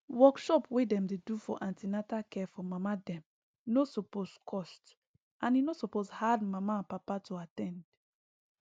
workshop wey dem dey do for an ten atal care for mama dem no suppose get cost and e no suppose hard mama and papa to at ten d